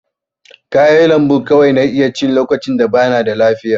Kayan lambu kawai na iya ci lokacin da bana da lafiya.